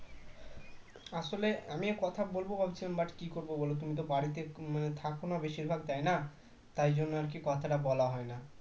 আসলে আমি কথা বলব ভাবছিলাম but কি করবো বলতো আমি বাড়িতে থাকি না বেশিরভাগ তাই না তাই জন্য আর কি কথা বলা হয়না